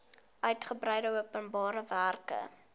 uigebreide openbare werke